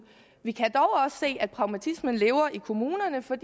vi kan dog også se at pragmatismen lever i kommunerne for